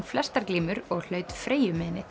flestar glímur og hlaut